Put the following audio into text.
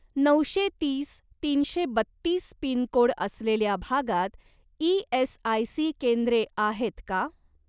नऊशे तीस तीनशे बत्तीस पिनकोड असलेल्या भागात ई.एस.आय.सी. केंद्रे आहेत का?